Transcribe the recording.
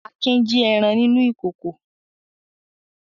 Akin jí ẹran nínú ìkòkò.